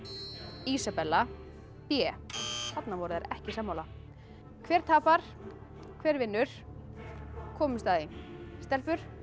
Ísabella b þarna voru þær ekki sammála hver tapar hver vinnu komumst að því stelpur